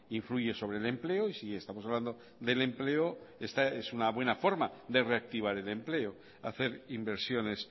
influye sobre el empleo y si estamos hablando del empleo esta es una buena forma de reactivar el empleo hacer inversiones